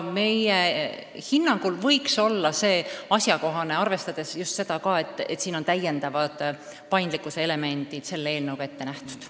Meie hinnangul on see asjakohane muudatus, arvestades just ka seda, et eelnõuga on ette nähtud täiendavad paindlikkuse elemendid.